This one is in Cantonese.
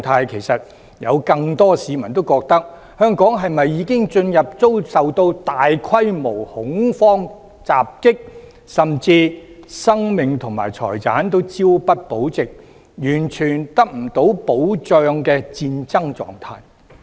其實有很多市民認為，香港是否已進入遭受大規模恐慌襲擊，甚至生命及財產均朝不保夕、完全得不到保障的戰爭狀態。